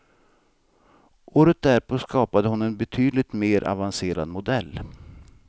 Året därpå skapade hon en betydligt mer avancerad modell.